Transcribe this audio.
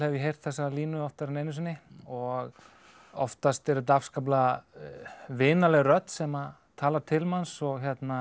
ég heyrt þessa línu oftar en einu sinni og oftast er þetta afskaplega vinaleg rödd sem talar til manns og